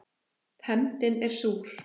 Hefndin er súr.